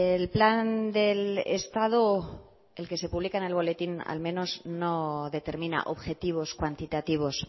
el plan del estado el que se publica en el boletín al menos no determina objetivos cuantitativos